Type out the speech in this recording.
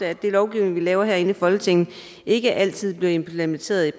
at den lovgivning vi laver herinde i folketinget i praksis ikke altid bliver implementeret